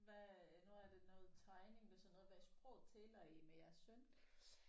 Hvad nu er det noget tegning hvad sådan noget hvad sprog taler I med jeres søn?